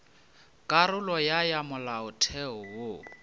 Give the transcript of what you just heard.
karolo ya ya molaotheo wo